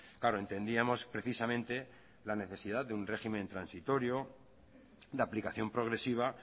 claro entendíamos precisamente la necesidad de un régimen transitorio la aplicación progresiva